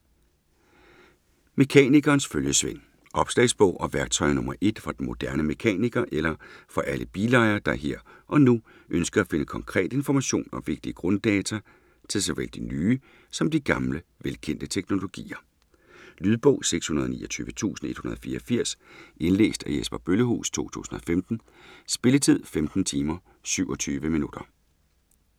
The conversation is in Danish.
Mekanikerens følgesvend Opslagsbog og værktøj nr. 1 for den moderne mekaniker eller for alle bilejere, der her og nu ønsker at finde konkret information og vigtige grunddata til såvel de nye som de gamle, velkendte teknologier. Lydbog 629184 Indlæst af Jesper Bøllehuus, 2015. Spilletid: 15 timer, 27 minutter.